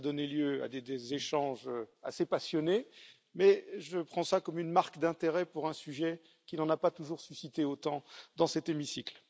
Cela a donné lieu à des échanges assez passionnés mais je prends cela comme une marque d'intérêt pour un sujet qui n'en a pas toujours suscité autant dans cet hémicycle.